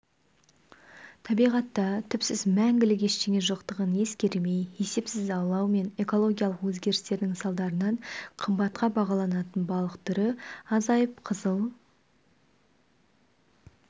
табиғатта түпсіз мәңгілік ештеңе жоқтығын ескермей есепсіз аулау мен экологиялық өзгерістердің салдарынан қымбатқа бағаланатын балық түрі азайып қызыл